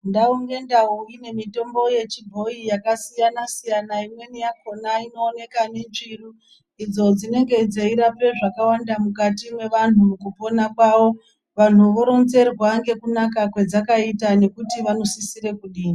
Ndau ngendau ine mitombo yechibhoyi yakasiyana siyana. Imweni yakhona inooneka minzvuru, idzo dzinenge dzeirapa zvakawanda mukati mwevantu mukupona kwavo. Vantu voronzerwa nekunaka kwadzakaita nekuti vanosisira kudini.